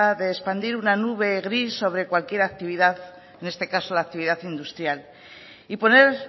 de expandir una nube gris sobre cualquier actividad en este caso la actividad industrial y poner